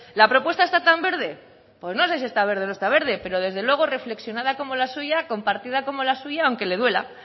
la propuesta está tan verde pues no sé si está verde o no está verde pero desde luego reflexionada como la suya compartida como la suya aunque le duela